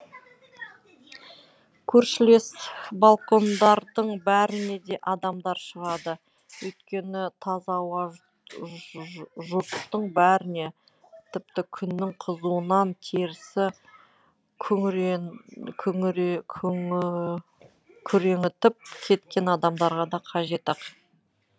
көршілес балкондардың бәріне де адамдар шығады өйткені таза ауа жұрттың бәріне тіпті күннің қызуынан терісі күреңітіп кеткен адамдарға да қажет ақ